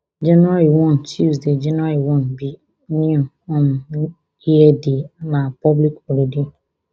january one tuesday january one be new um year day na public holiday